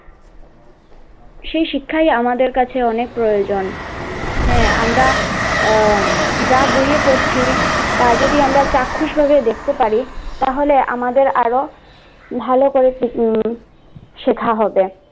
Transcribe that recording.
সে শিক্ষায় আমাদের কাছে অনেক প্রয়োজন হ্যাঁ আমরা আহ যা বয়ে পড়ছি তা যদি আমরা চাক্ষুষ ভাবে দেখতে পারি, তাহলে আমাদের আরো ভালো করে শেখা হবে।